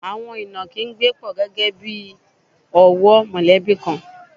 Àwọn ìnàkí ń gbé pọ̀ gẹ́gẹ́ bí ọ̀wọ́ mọ̀lẹ́bí kan.